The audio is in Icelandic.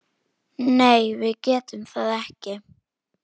Nei, við getum það ekki.